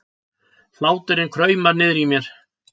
Hláturinn kraumar niðri í mér.